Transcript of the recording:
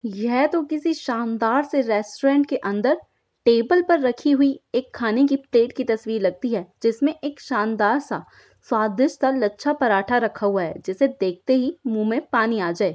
यह तो किसी शानदार से रेस्टोरेंट के अंदर टेबल पर रखी हुई एक खान की प्लेट की तस्वीर लगती है जिसमें एक शानदार सा स्वादिष्ट का लच्छा पराठा रखा हुआ है जिसे देखते ही मुंह में पानी आ जाए।